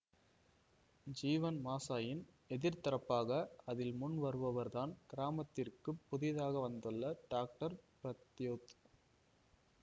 ஜீவன் மஷாயின் எதிர் தரப்பாக அதில் முன் வருபவர்தான் கிராமத்திற்குப் புதிதாக வந்துள்ள டாக்டர் பிரத்யோத்